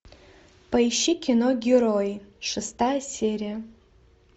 поищи кино герои шестая серия